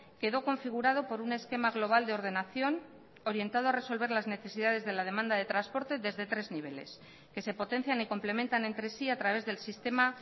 quedó configurado por un esquema global de ordenación orientado a resolver las necesidades de la demanda de transporte desde tres niveles que se potencian y complementan entre sí a través del sistema